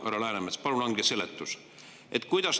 Härra Läänemets, palun andke seletus.